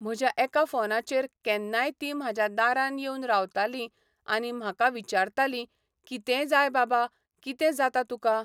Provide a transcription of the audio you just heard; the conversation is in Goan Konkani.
म्हाज्या एका फोनाचेर केन्नाय तीं म्हाज्या दारान येवन रावतलीं आनी म्हाका विचारतलीं, कितें जाय बाबा, कितें जाता तुका.